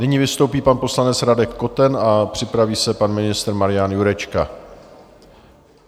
Nyní vystoupí pan poslanec Radek Koten a připraví se pan ministr Marian Jurečka.